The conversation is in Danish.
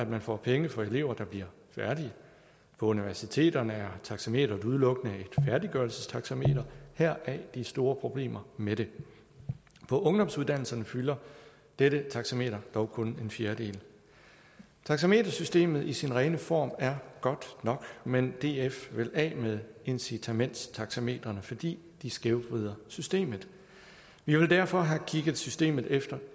man får penge for elever der bliver færdige på universiteterne er taxameteret udelukkende et færdiggørelsestaxameter heraf de store problemer med det på ungdomsuddannelserne fylder dette taxameter dog kun en fjerdedel taxametersystemet i sin rene form er godt nok men df vil af med incitamentstaxametrene fordi de skævvrider systemet vi vil derfor have kigget systemet efter